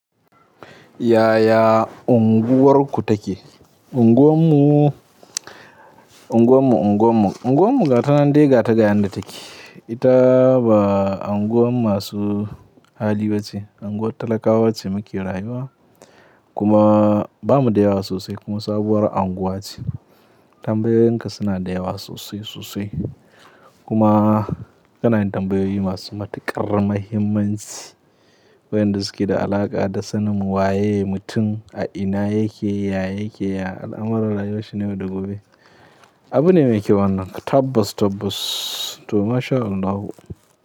Yaya unguwarku take? Unguwan mu, unguwan mu, unguwan mu, unguwan mu gata nan dai gata ga yanda take. Ita ba anguwan masu hali ba ce. Anguwan talakawa ce muke rayuwa kuma bamu da yawa sosai kuma sabuwar anguwa ce. Tambayoyinka suna da yawa sosai sosai kuma kanayin tambayoyi masu matuƙar mahimmanci, wayanda suke da alaƙa da sanin waye mutum, a ina yake, ya yake, ya al'amuran rayuwan shi na yau da gobe. Abune mai kyau wannan tabbas tabbas to masha Allahu.